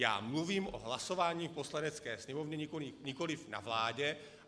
Já mluvím o hlasování v Poslanecké sněmovně, nikoli na vládě.